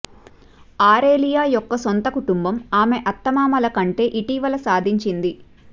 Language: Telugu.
ఆరేలియా యొక్క సొంత కుటుంబం ఆమె అత్తమామల కంటే ఇటీవల సాధించింది